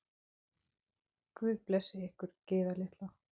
Guð blessi ykkur, Gyða litla.